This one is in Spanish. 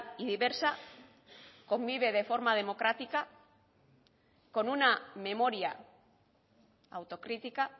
y diversa convive de forma democrática con una memoria autocrítica